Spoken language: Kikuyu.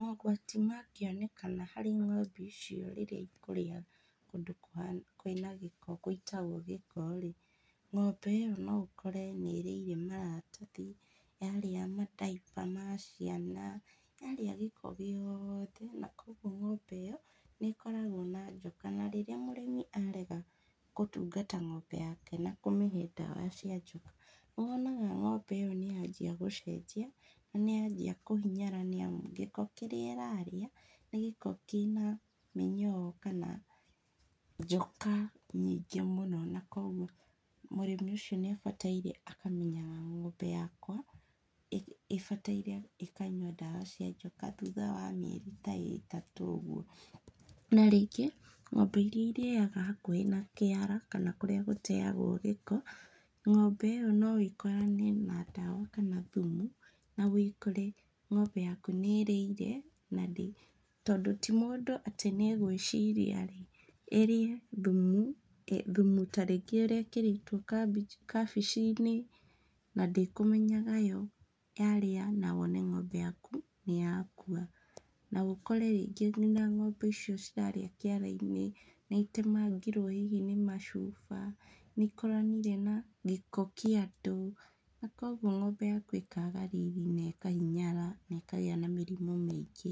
Mogwati mangĩonekana harĩ ng'ombe icio rĩrĩa ikũrĩa kũndũ kwĩna gĩko gũitagwo gĩko rĩ, ng'ombe ĩyo noũkore nĩrĩire maratathi, yarĩa ma diaper ma ciana, yarĩa gĩko gĩothe, na koguo ng'ombe ĩyo, nĩkoragwo na njoka, na rĩrĩa mũrĩmi arega kũtungata ng'ombe yake na kũmĩhe ndawa cia njoka, nĩwonaga ng'ombe ĩyo nĩyanjia gũcenjia na nĩyanjia kũhinyara nĩamu gĩko kĩrĩa ĩrarĩa nĩ gĩko kĩna mĩnyoo, kana njoka nyingĩ mũno na koguo mũrĩmi ũcio nĩabataire akamenyaga ng'ombe yakwa, ĩ ĩbataire ĩkanyua ndawa cia njoka thutha wa mĩeri ta ĩtatũ úguo, na rĩngĩ, ng'ombe iria irĩaga hakuhĩ na kĩara kana kũrĩa gũtegwo gĩko, ng'ombe ĩyo noĩkorane na ndawa kana thumu, na wĩkore, ng'ombe yaku nĩĩrĩire, na ndĩ tondũ ti mũndũ atĩ nĩgwĩciria rĩ, ĩrĩe thumu, thumu tarĩngĩ ũrekĩrĩtwo kabĩ kabici-inĩ, nandĩkũmenyaga yo, yarĩa na wone ng'ombe yaku nĩyakua, na ũkorĩ rĩngĩ ng'ombe icio ciarĩa kĩara-inĩ nĩitemangirwo hihi nĩ macuba, nĩikoranire na gĩko kĩa andũ, na koguo ng'ombe yaku ĩkaga riri na ĩkahinyara nekagĩa na mĩrimũ mĩingĩ.